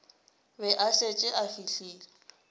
be a šetše a fihlile